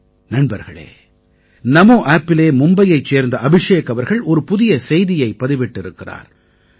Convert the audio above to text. நண்பர்களே NamoAppஇலே மும்பையைச் சேர்ந்த அபிஷேக் அவர்கள் ஒரு புதிய செய்தியை பதிவிட்டிருக்கிறார்